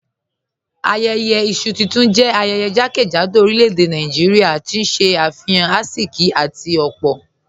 Ayẹyẹ isu tuntun jẹ ayẹyẹ jàkẹ́jádò orílẹ̀-èdè Nàìjíríà, tí n ṣe afihan àìsíkì àti opo